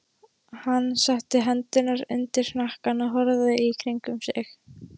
Hann setti hendurnar undir hnakkann og horfði í kringum sig.